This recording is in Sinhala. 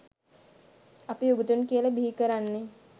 අපි උගතුන් කියල බිහිකරන්නේ